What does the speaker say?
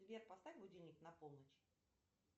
сбер поставь будильник на полночь